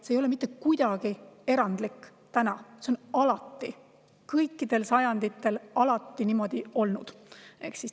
See ei ole mitte kuidagi erandlik, see on alati, kõikidel sajanditel niimoodi olnud.